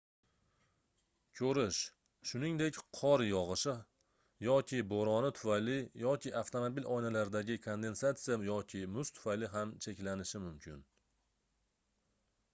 koʻrish shuningdek qor yogʻishi yoki boʻroni tufayli yoki avtomobil oynalaridagi kondensatsiya yoki muz tufayli ham cheklanishi mumkin